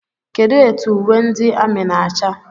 Kedụ etụ uwe ndị amị na-acha?